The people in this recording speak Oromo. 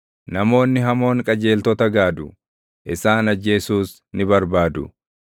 Namoonni hamoon qajeeltota gaadu; isaan ajjeesuus ni barbaadu;